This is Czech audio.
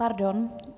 Pardon.